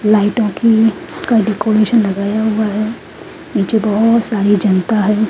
लाइटों की डेकोरेशन लगाया हुआ है नीचे बहौत सारी जानता है।